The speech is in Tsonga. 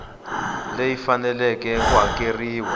leyi faneleke ku hakeriwa hi